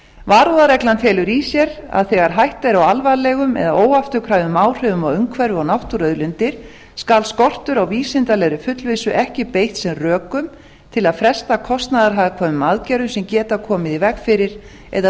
varúðarreglan felur í sér að þegar hætta er á alvarlegum eða óafturkræfum áhrifum á umhverfi og náttúruauðlindir skal skortur á vísindalegri fullvissu ekki beitt sem rökum til að fresta kostnaðarhagkvæmum aðgerðum sem geta komið í veg fyrir eða